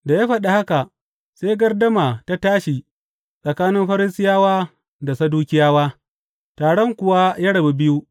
Da ya faɗi haka, sai gardama ta tashi tsakanin Farisiyawa da Sadukiyawa, taron kuwa ya rabu biyu.